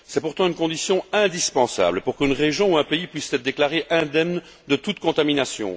C'est pourtant une condition indispensable pour qu'une région ou un pays puisse être déclaré indemne de toute contamination.